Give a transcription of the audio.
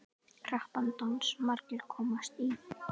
Krappan dans margir komast í.